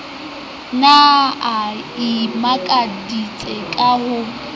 ne a imakaditse ka ho